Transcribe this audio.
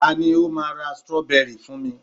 ta ni o ma ra strawberry fún mi